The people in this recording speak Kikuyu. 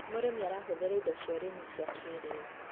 mũrĩmi arahuthira indo cia ũrĩmi cia kĩriu